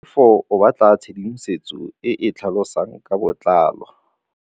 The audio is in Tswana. Tlhalefô o batla tshedimosetsô e e tlhalosang ka botlalô.